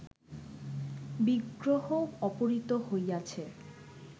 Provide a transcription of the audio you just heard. বিগ্রহ অপহৃত হইয়াছে